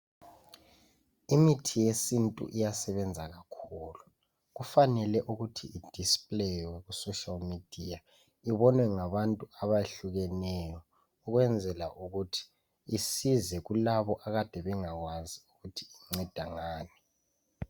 Imithi yesintu iyasebenza kakhulu kufanele ukuthi ibukiswe ku social media ibonwe ngabantu abahlukeneyo ukwenzela ukuthi isize kulabo akade bengakwazi ukuthi inceda ngani.